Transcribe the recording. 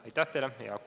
Aitäh teile!